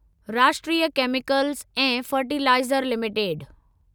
राष्ट्रीय केमिकल्स ऐं fertilizer limited